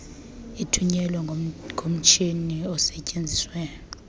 ithunyelwe ngomatshini osetyenziswa